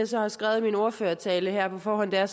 så har skrevet i min ordførertale her på forhånd er